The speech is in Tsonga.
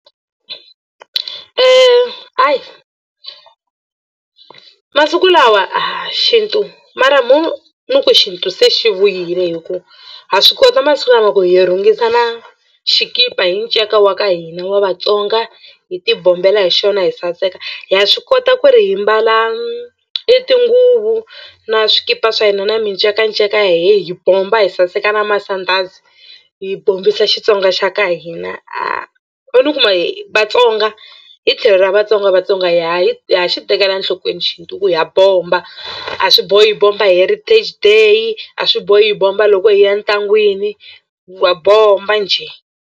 Ayi masiku lawa xintu mara mo ni ku xintu se xi vuyile hi ku ha swi kota masiku lama ku hi rhungisa na xikipa hi nceka wa ka hina wa Vatsonga hi tibombela hi xona hi saseka ha swi kota ku ri hi mbala i tinguvu na swikipa swa hina na micekanceka ya hina hi bomba hi saseka na masandhazi hi bombisa Xitsonga xa ka hina ho ni ku ma hi Vatsonga hi tlhelo ra Vatsonga Vatsonga ha yi ha xi tekela enhlokweni xintu ku ha bomba a swi bohi hi bomba hi heritage day a swi bohi hi bomba loko hi ya ntlangwini wa bomba njhe.